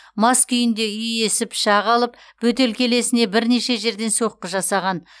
мас күйінде үй иесі пышақ алып бөтелкелесіне бірнеше жерден соққы жасаған